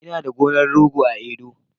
Ina da gonar rogo a Edo